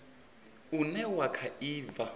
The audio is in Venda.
une wa kha i bva